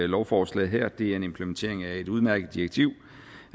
lovforslaget her det er en implementering af et udmærket direktiv